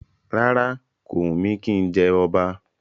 Rárá, kò wù mí kí n jẹ ọba